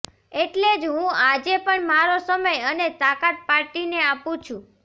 એટલે જ હું આજે પણ મારો સમય અને તાકાત પાર્ટીને આપું છું